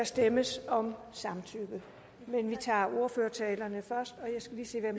stemmes om samtykke men vi tager ordførertalerne først og jeg skal lige sige